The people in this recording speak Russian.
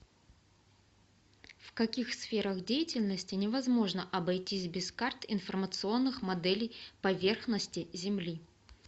в каких сферах деятельности невозможно обойтись без карт информационных моделей поверхности земли